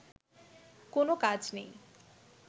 কোনো কাজ নেই